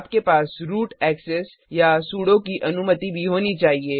आपके पास root access या सुडो की अनुमति भी होनी चाहिए